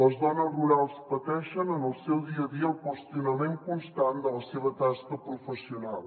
les dones rurals pateixen en el seu dia a dia el qüestionament constant de la seva tasca professional